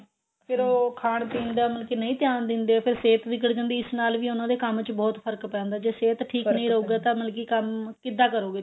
ਫ਼ਿਰ ਉਹ ਖਾਣ ਪੀਣ ਦਾ ਮਤਲਬ ਕੀ ਨਹੀਂ ਧਿਆਨ ਦਿੰਦੇ ਫੇਰ ਸਿਹਤ ਵਿਗੜ ਜਾਂਦੀ ਇਸ ਨਾਲ ਵੀ ਉਹਨਾ ਦੇ ਕੰਮ ਵਿੱਚ ਬਹੁਤ ਫ਼ਰਕ ਪੈਂਦਾ ਜੇ ਸਿਹਤ ਠੀਕ ਨਹੀਂ ਰਹੂਗਾ ਮਤਲਬ ਕੀ ਕੰਮ ਕਿੱਦਾਂ ਕਰੋਗੇ ਤੁਸੀਂ